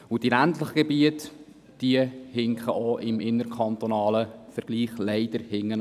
Die ländlichen Gebiete wiederum hinken leider auch im innerkantonalen Vergleich hinterher.